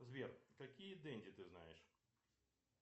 сбер какие денди ты знаешь